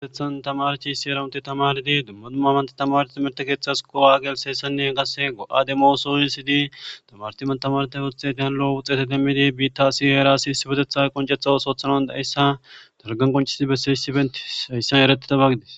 gaetethan tamarti issi era unte tamardi dumma dumma amanta tamaroi merte keeththas kowa agelseessanne henkase go'ademoo soowisidi tamartiman tamarte wuxxe ti halo wuxeete demmidi biitta asi herasi his botetha qoncetha wos oothanan dayssa dargan qoncesii besseyissi benti hayssan ereti tabagides.